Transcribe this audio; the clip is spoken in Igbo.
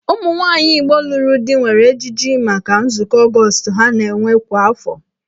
Ụmụnwaanyị Igbo lụrụ di nwere ejiji maka nzukọ Ọgọọst ha na-enwe kwa afọ.